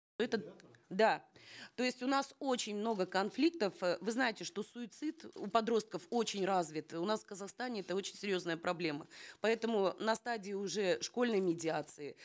это да то есть у нас очень много конфликтов э вы знаете что суицид у подростков очень развит у нас в казахстане это очень серьезная проблема поэтому на стадии уже школьной медиации